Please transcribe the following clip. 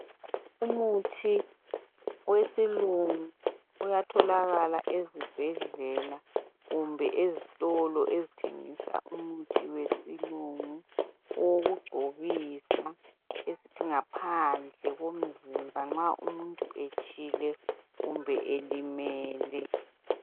Umuthi wesilungu uyatholakala ezibhedlela kumbe ezitolo ezithengisa umithi wesilungu owokungcobisa esithi ngaphandle komzimba nxa umuntu etshile kumbe elimele.